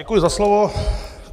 Děkuji za slovo.